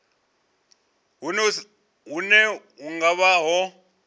hune hu nga vha ho